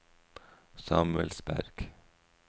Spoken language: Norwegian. Samuelsberg